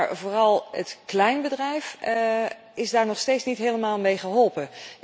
Maar het kleinbedrijf is daar nog steeds niet helemaal mee geholpen.